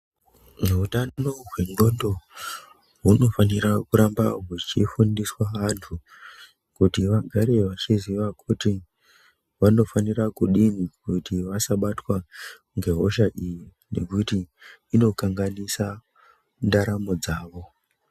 Hutano hwenclondo hunofanira kuramba hwechifundiswa antu kuti vagare vachiziva kuti vanofanira kudini kuti vasabatwa nge husha iyi ngekuti inokanganisa ndaramo dzawo